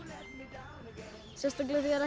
sérstaklega þegar